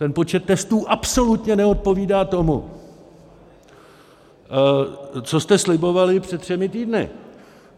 Ten počet testů absolutně neodpovídá tomu, co jste slibovali před třemi týdny.